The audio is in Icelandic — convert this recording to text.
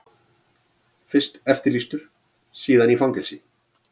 Fyrst eftirlýstur, síðan í fangelsi.